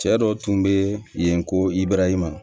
Cɛ dɔ tun be yen ko ibrahima